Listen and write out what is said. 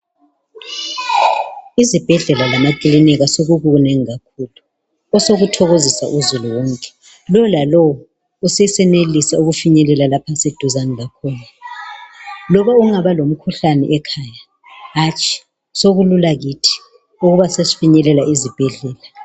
izibhedlela lama kilinika sokukunengi kakhulu osokuthokozisa uzulu wonke. Lo la lo usesenelisa ukufinyelela lapho aseduzane lakhona. Loba kungaba lomkhuhlane ekhaya hatshi sokulula kithi ukuba sesifinyelela izibhedlela.